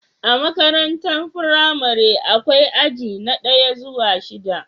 A makarantar firamare akwai aji na daya zuwa shida